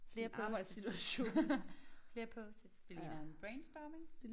Flere post-its flere post-its